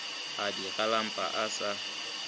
a di galampele a sa